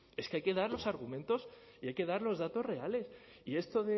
es que hay que dar los argumentos y hay que dar los datos reales y esto